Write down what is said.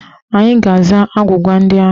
Anyị ga-aza agwụgwa ndị ahụ.